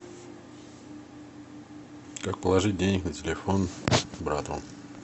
как положить денег на телефон брату